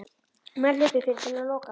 Menn hlupu fyrir til að loka.